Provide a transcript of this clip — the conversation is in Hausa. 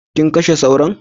Kin kashe Sauron?